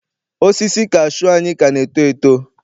Osisi kashuu anyị ka na-eto eto.